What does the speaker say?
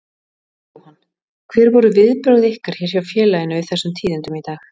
Jóhann: Hver voru viðbrögð ykkar hér hjá félaginu við þessum tíðindum í dag?